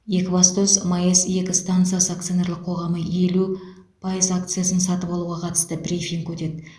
екібастұз маэс екі стансасы акционерлік қоғамының елу пайыз акциясын сатып алуға қатысты брифинг өтеді